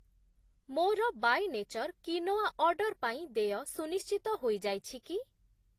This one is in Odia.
ମୋର ବାୟେ ନେଚର୍ କ୍ୱିନୋଆ ଅର୍ଡ଼ର୍‌ ପାଇଁ ଦେୟ ସୁନିଶ୍ଚିତ ହୋଇଯାଇଛି କି?